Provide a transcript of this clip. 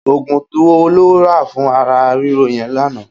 Ógún wó ló rà fún àrà rìró yèn lànã?